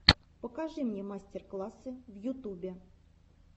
покажи мне мастер классы в ютубе